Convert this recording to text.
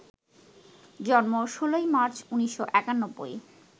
জন্ম ১৬ই মার্চ, ১৯৯১